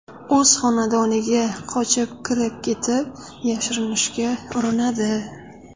o‘z xonadoniga qochib kirib ketib, yashirinishga urinadi.